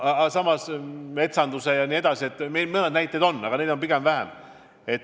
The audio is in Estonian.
Samas, metsanduse valdkonnas tehakse ja mõned näited on veel, aga neid on pigem vähe.